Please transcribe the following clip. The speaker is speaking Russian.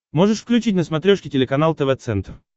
можешь включить на смотрешке телеканал тв центр